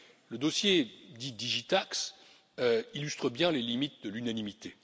Le dossier dit DigiTax illustre bien les limites de l'unanimité.